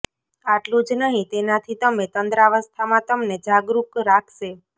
આટલું જ નહી તેનાથી તમે તંદ્રાવસ્થામાં તમને જાગરૂક રાખશે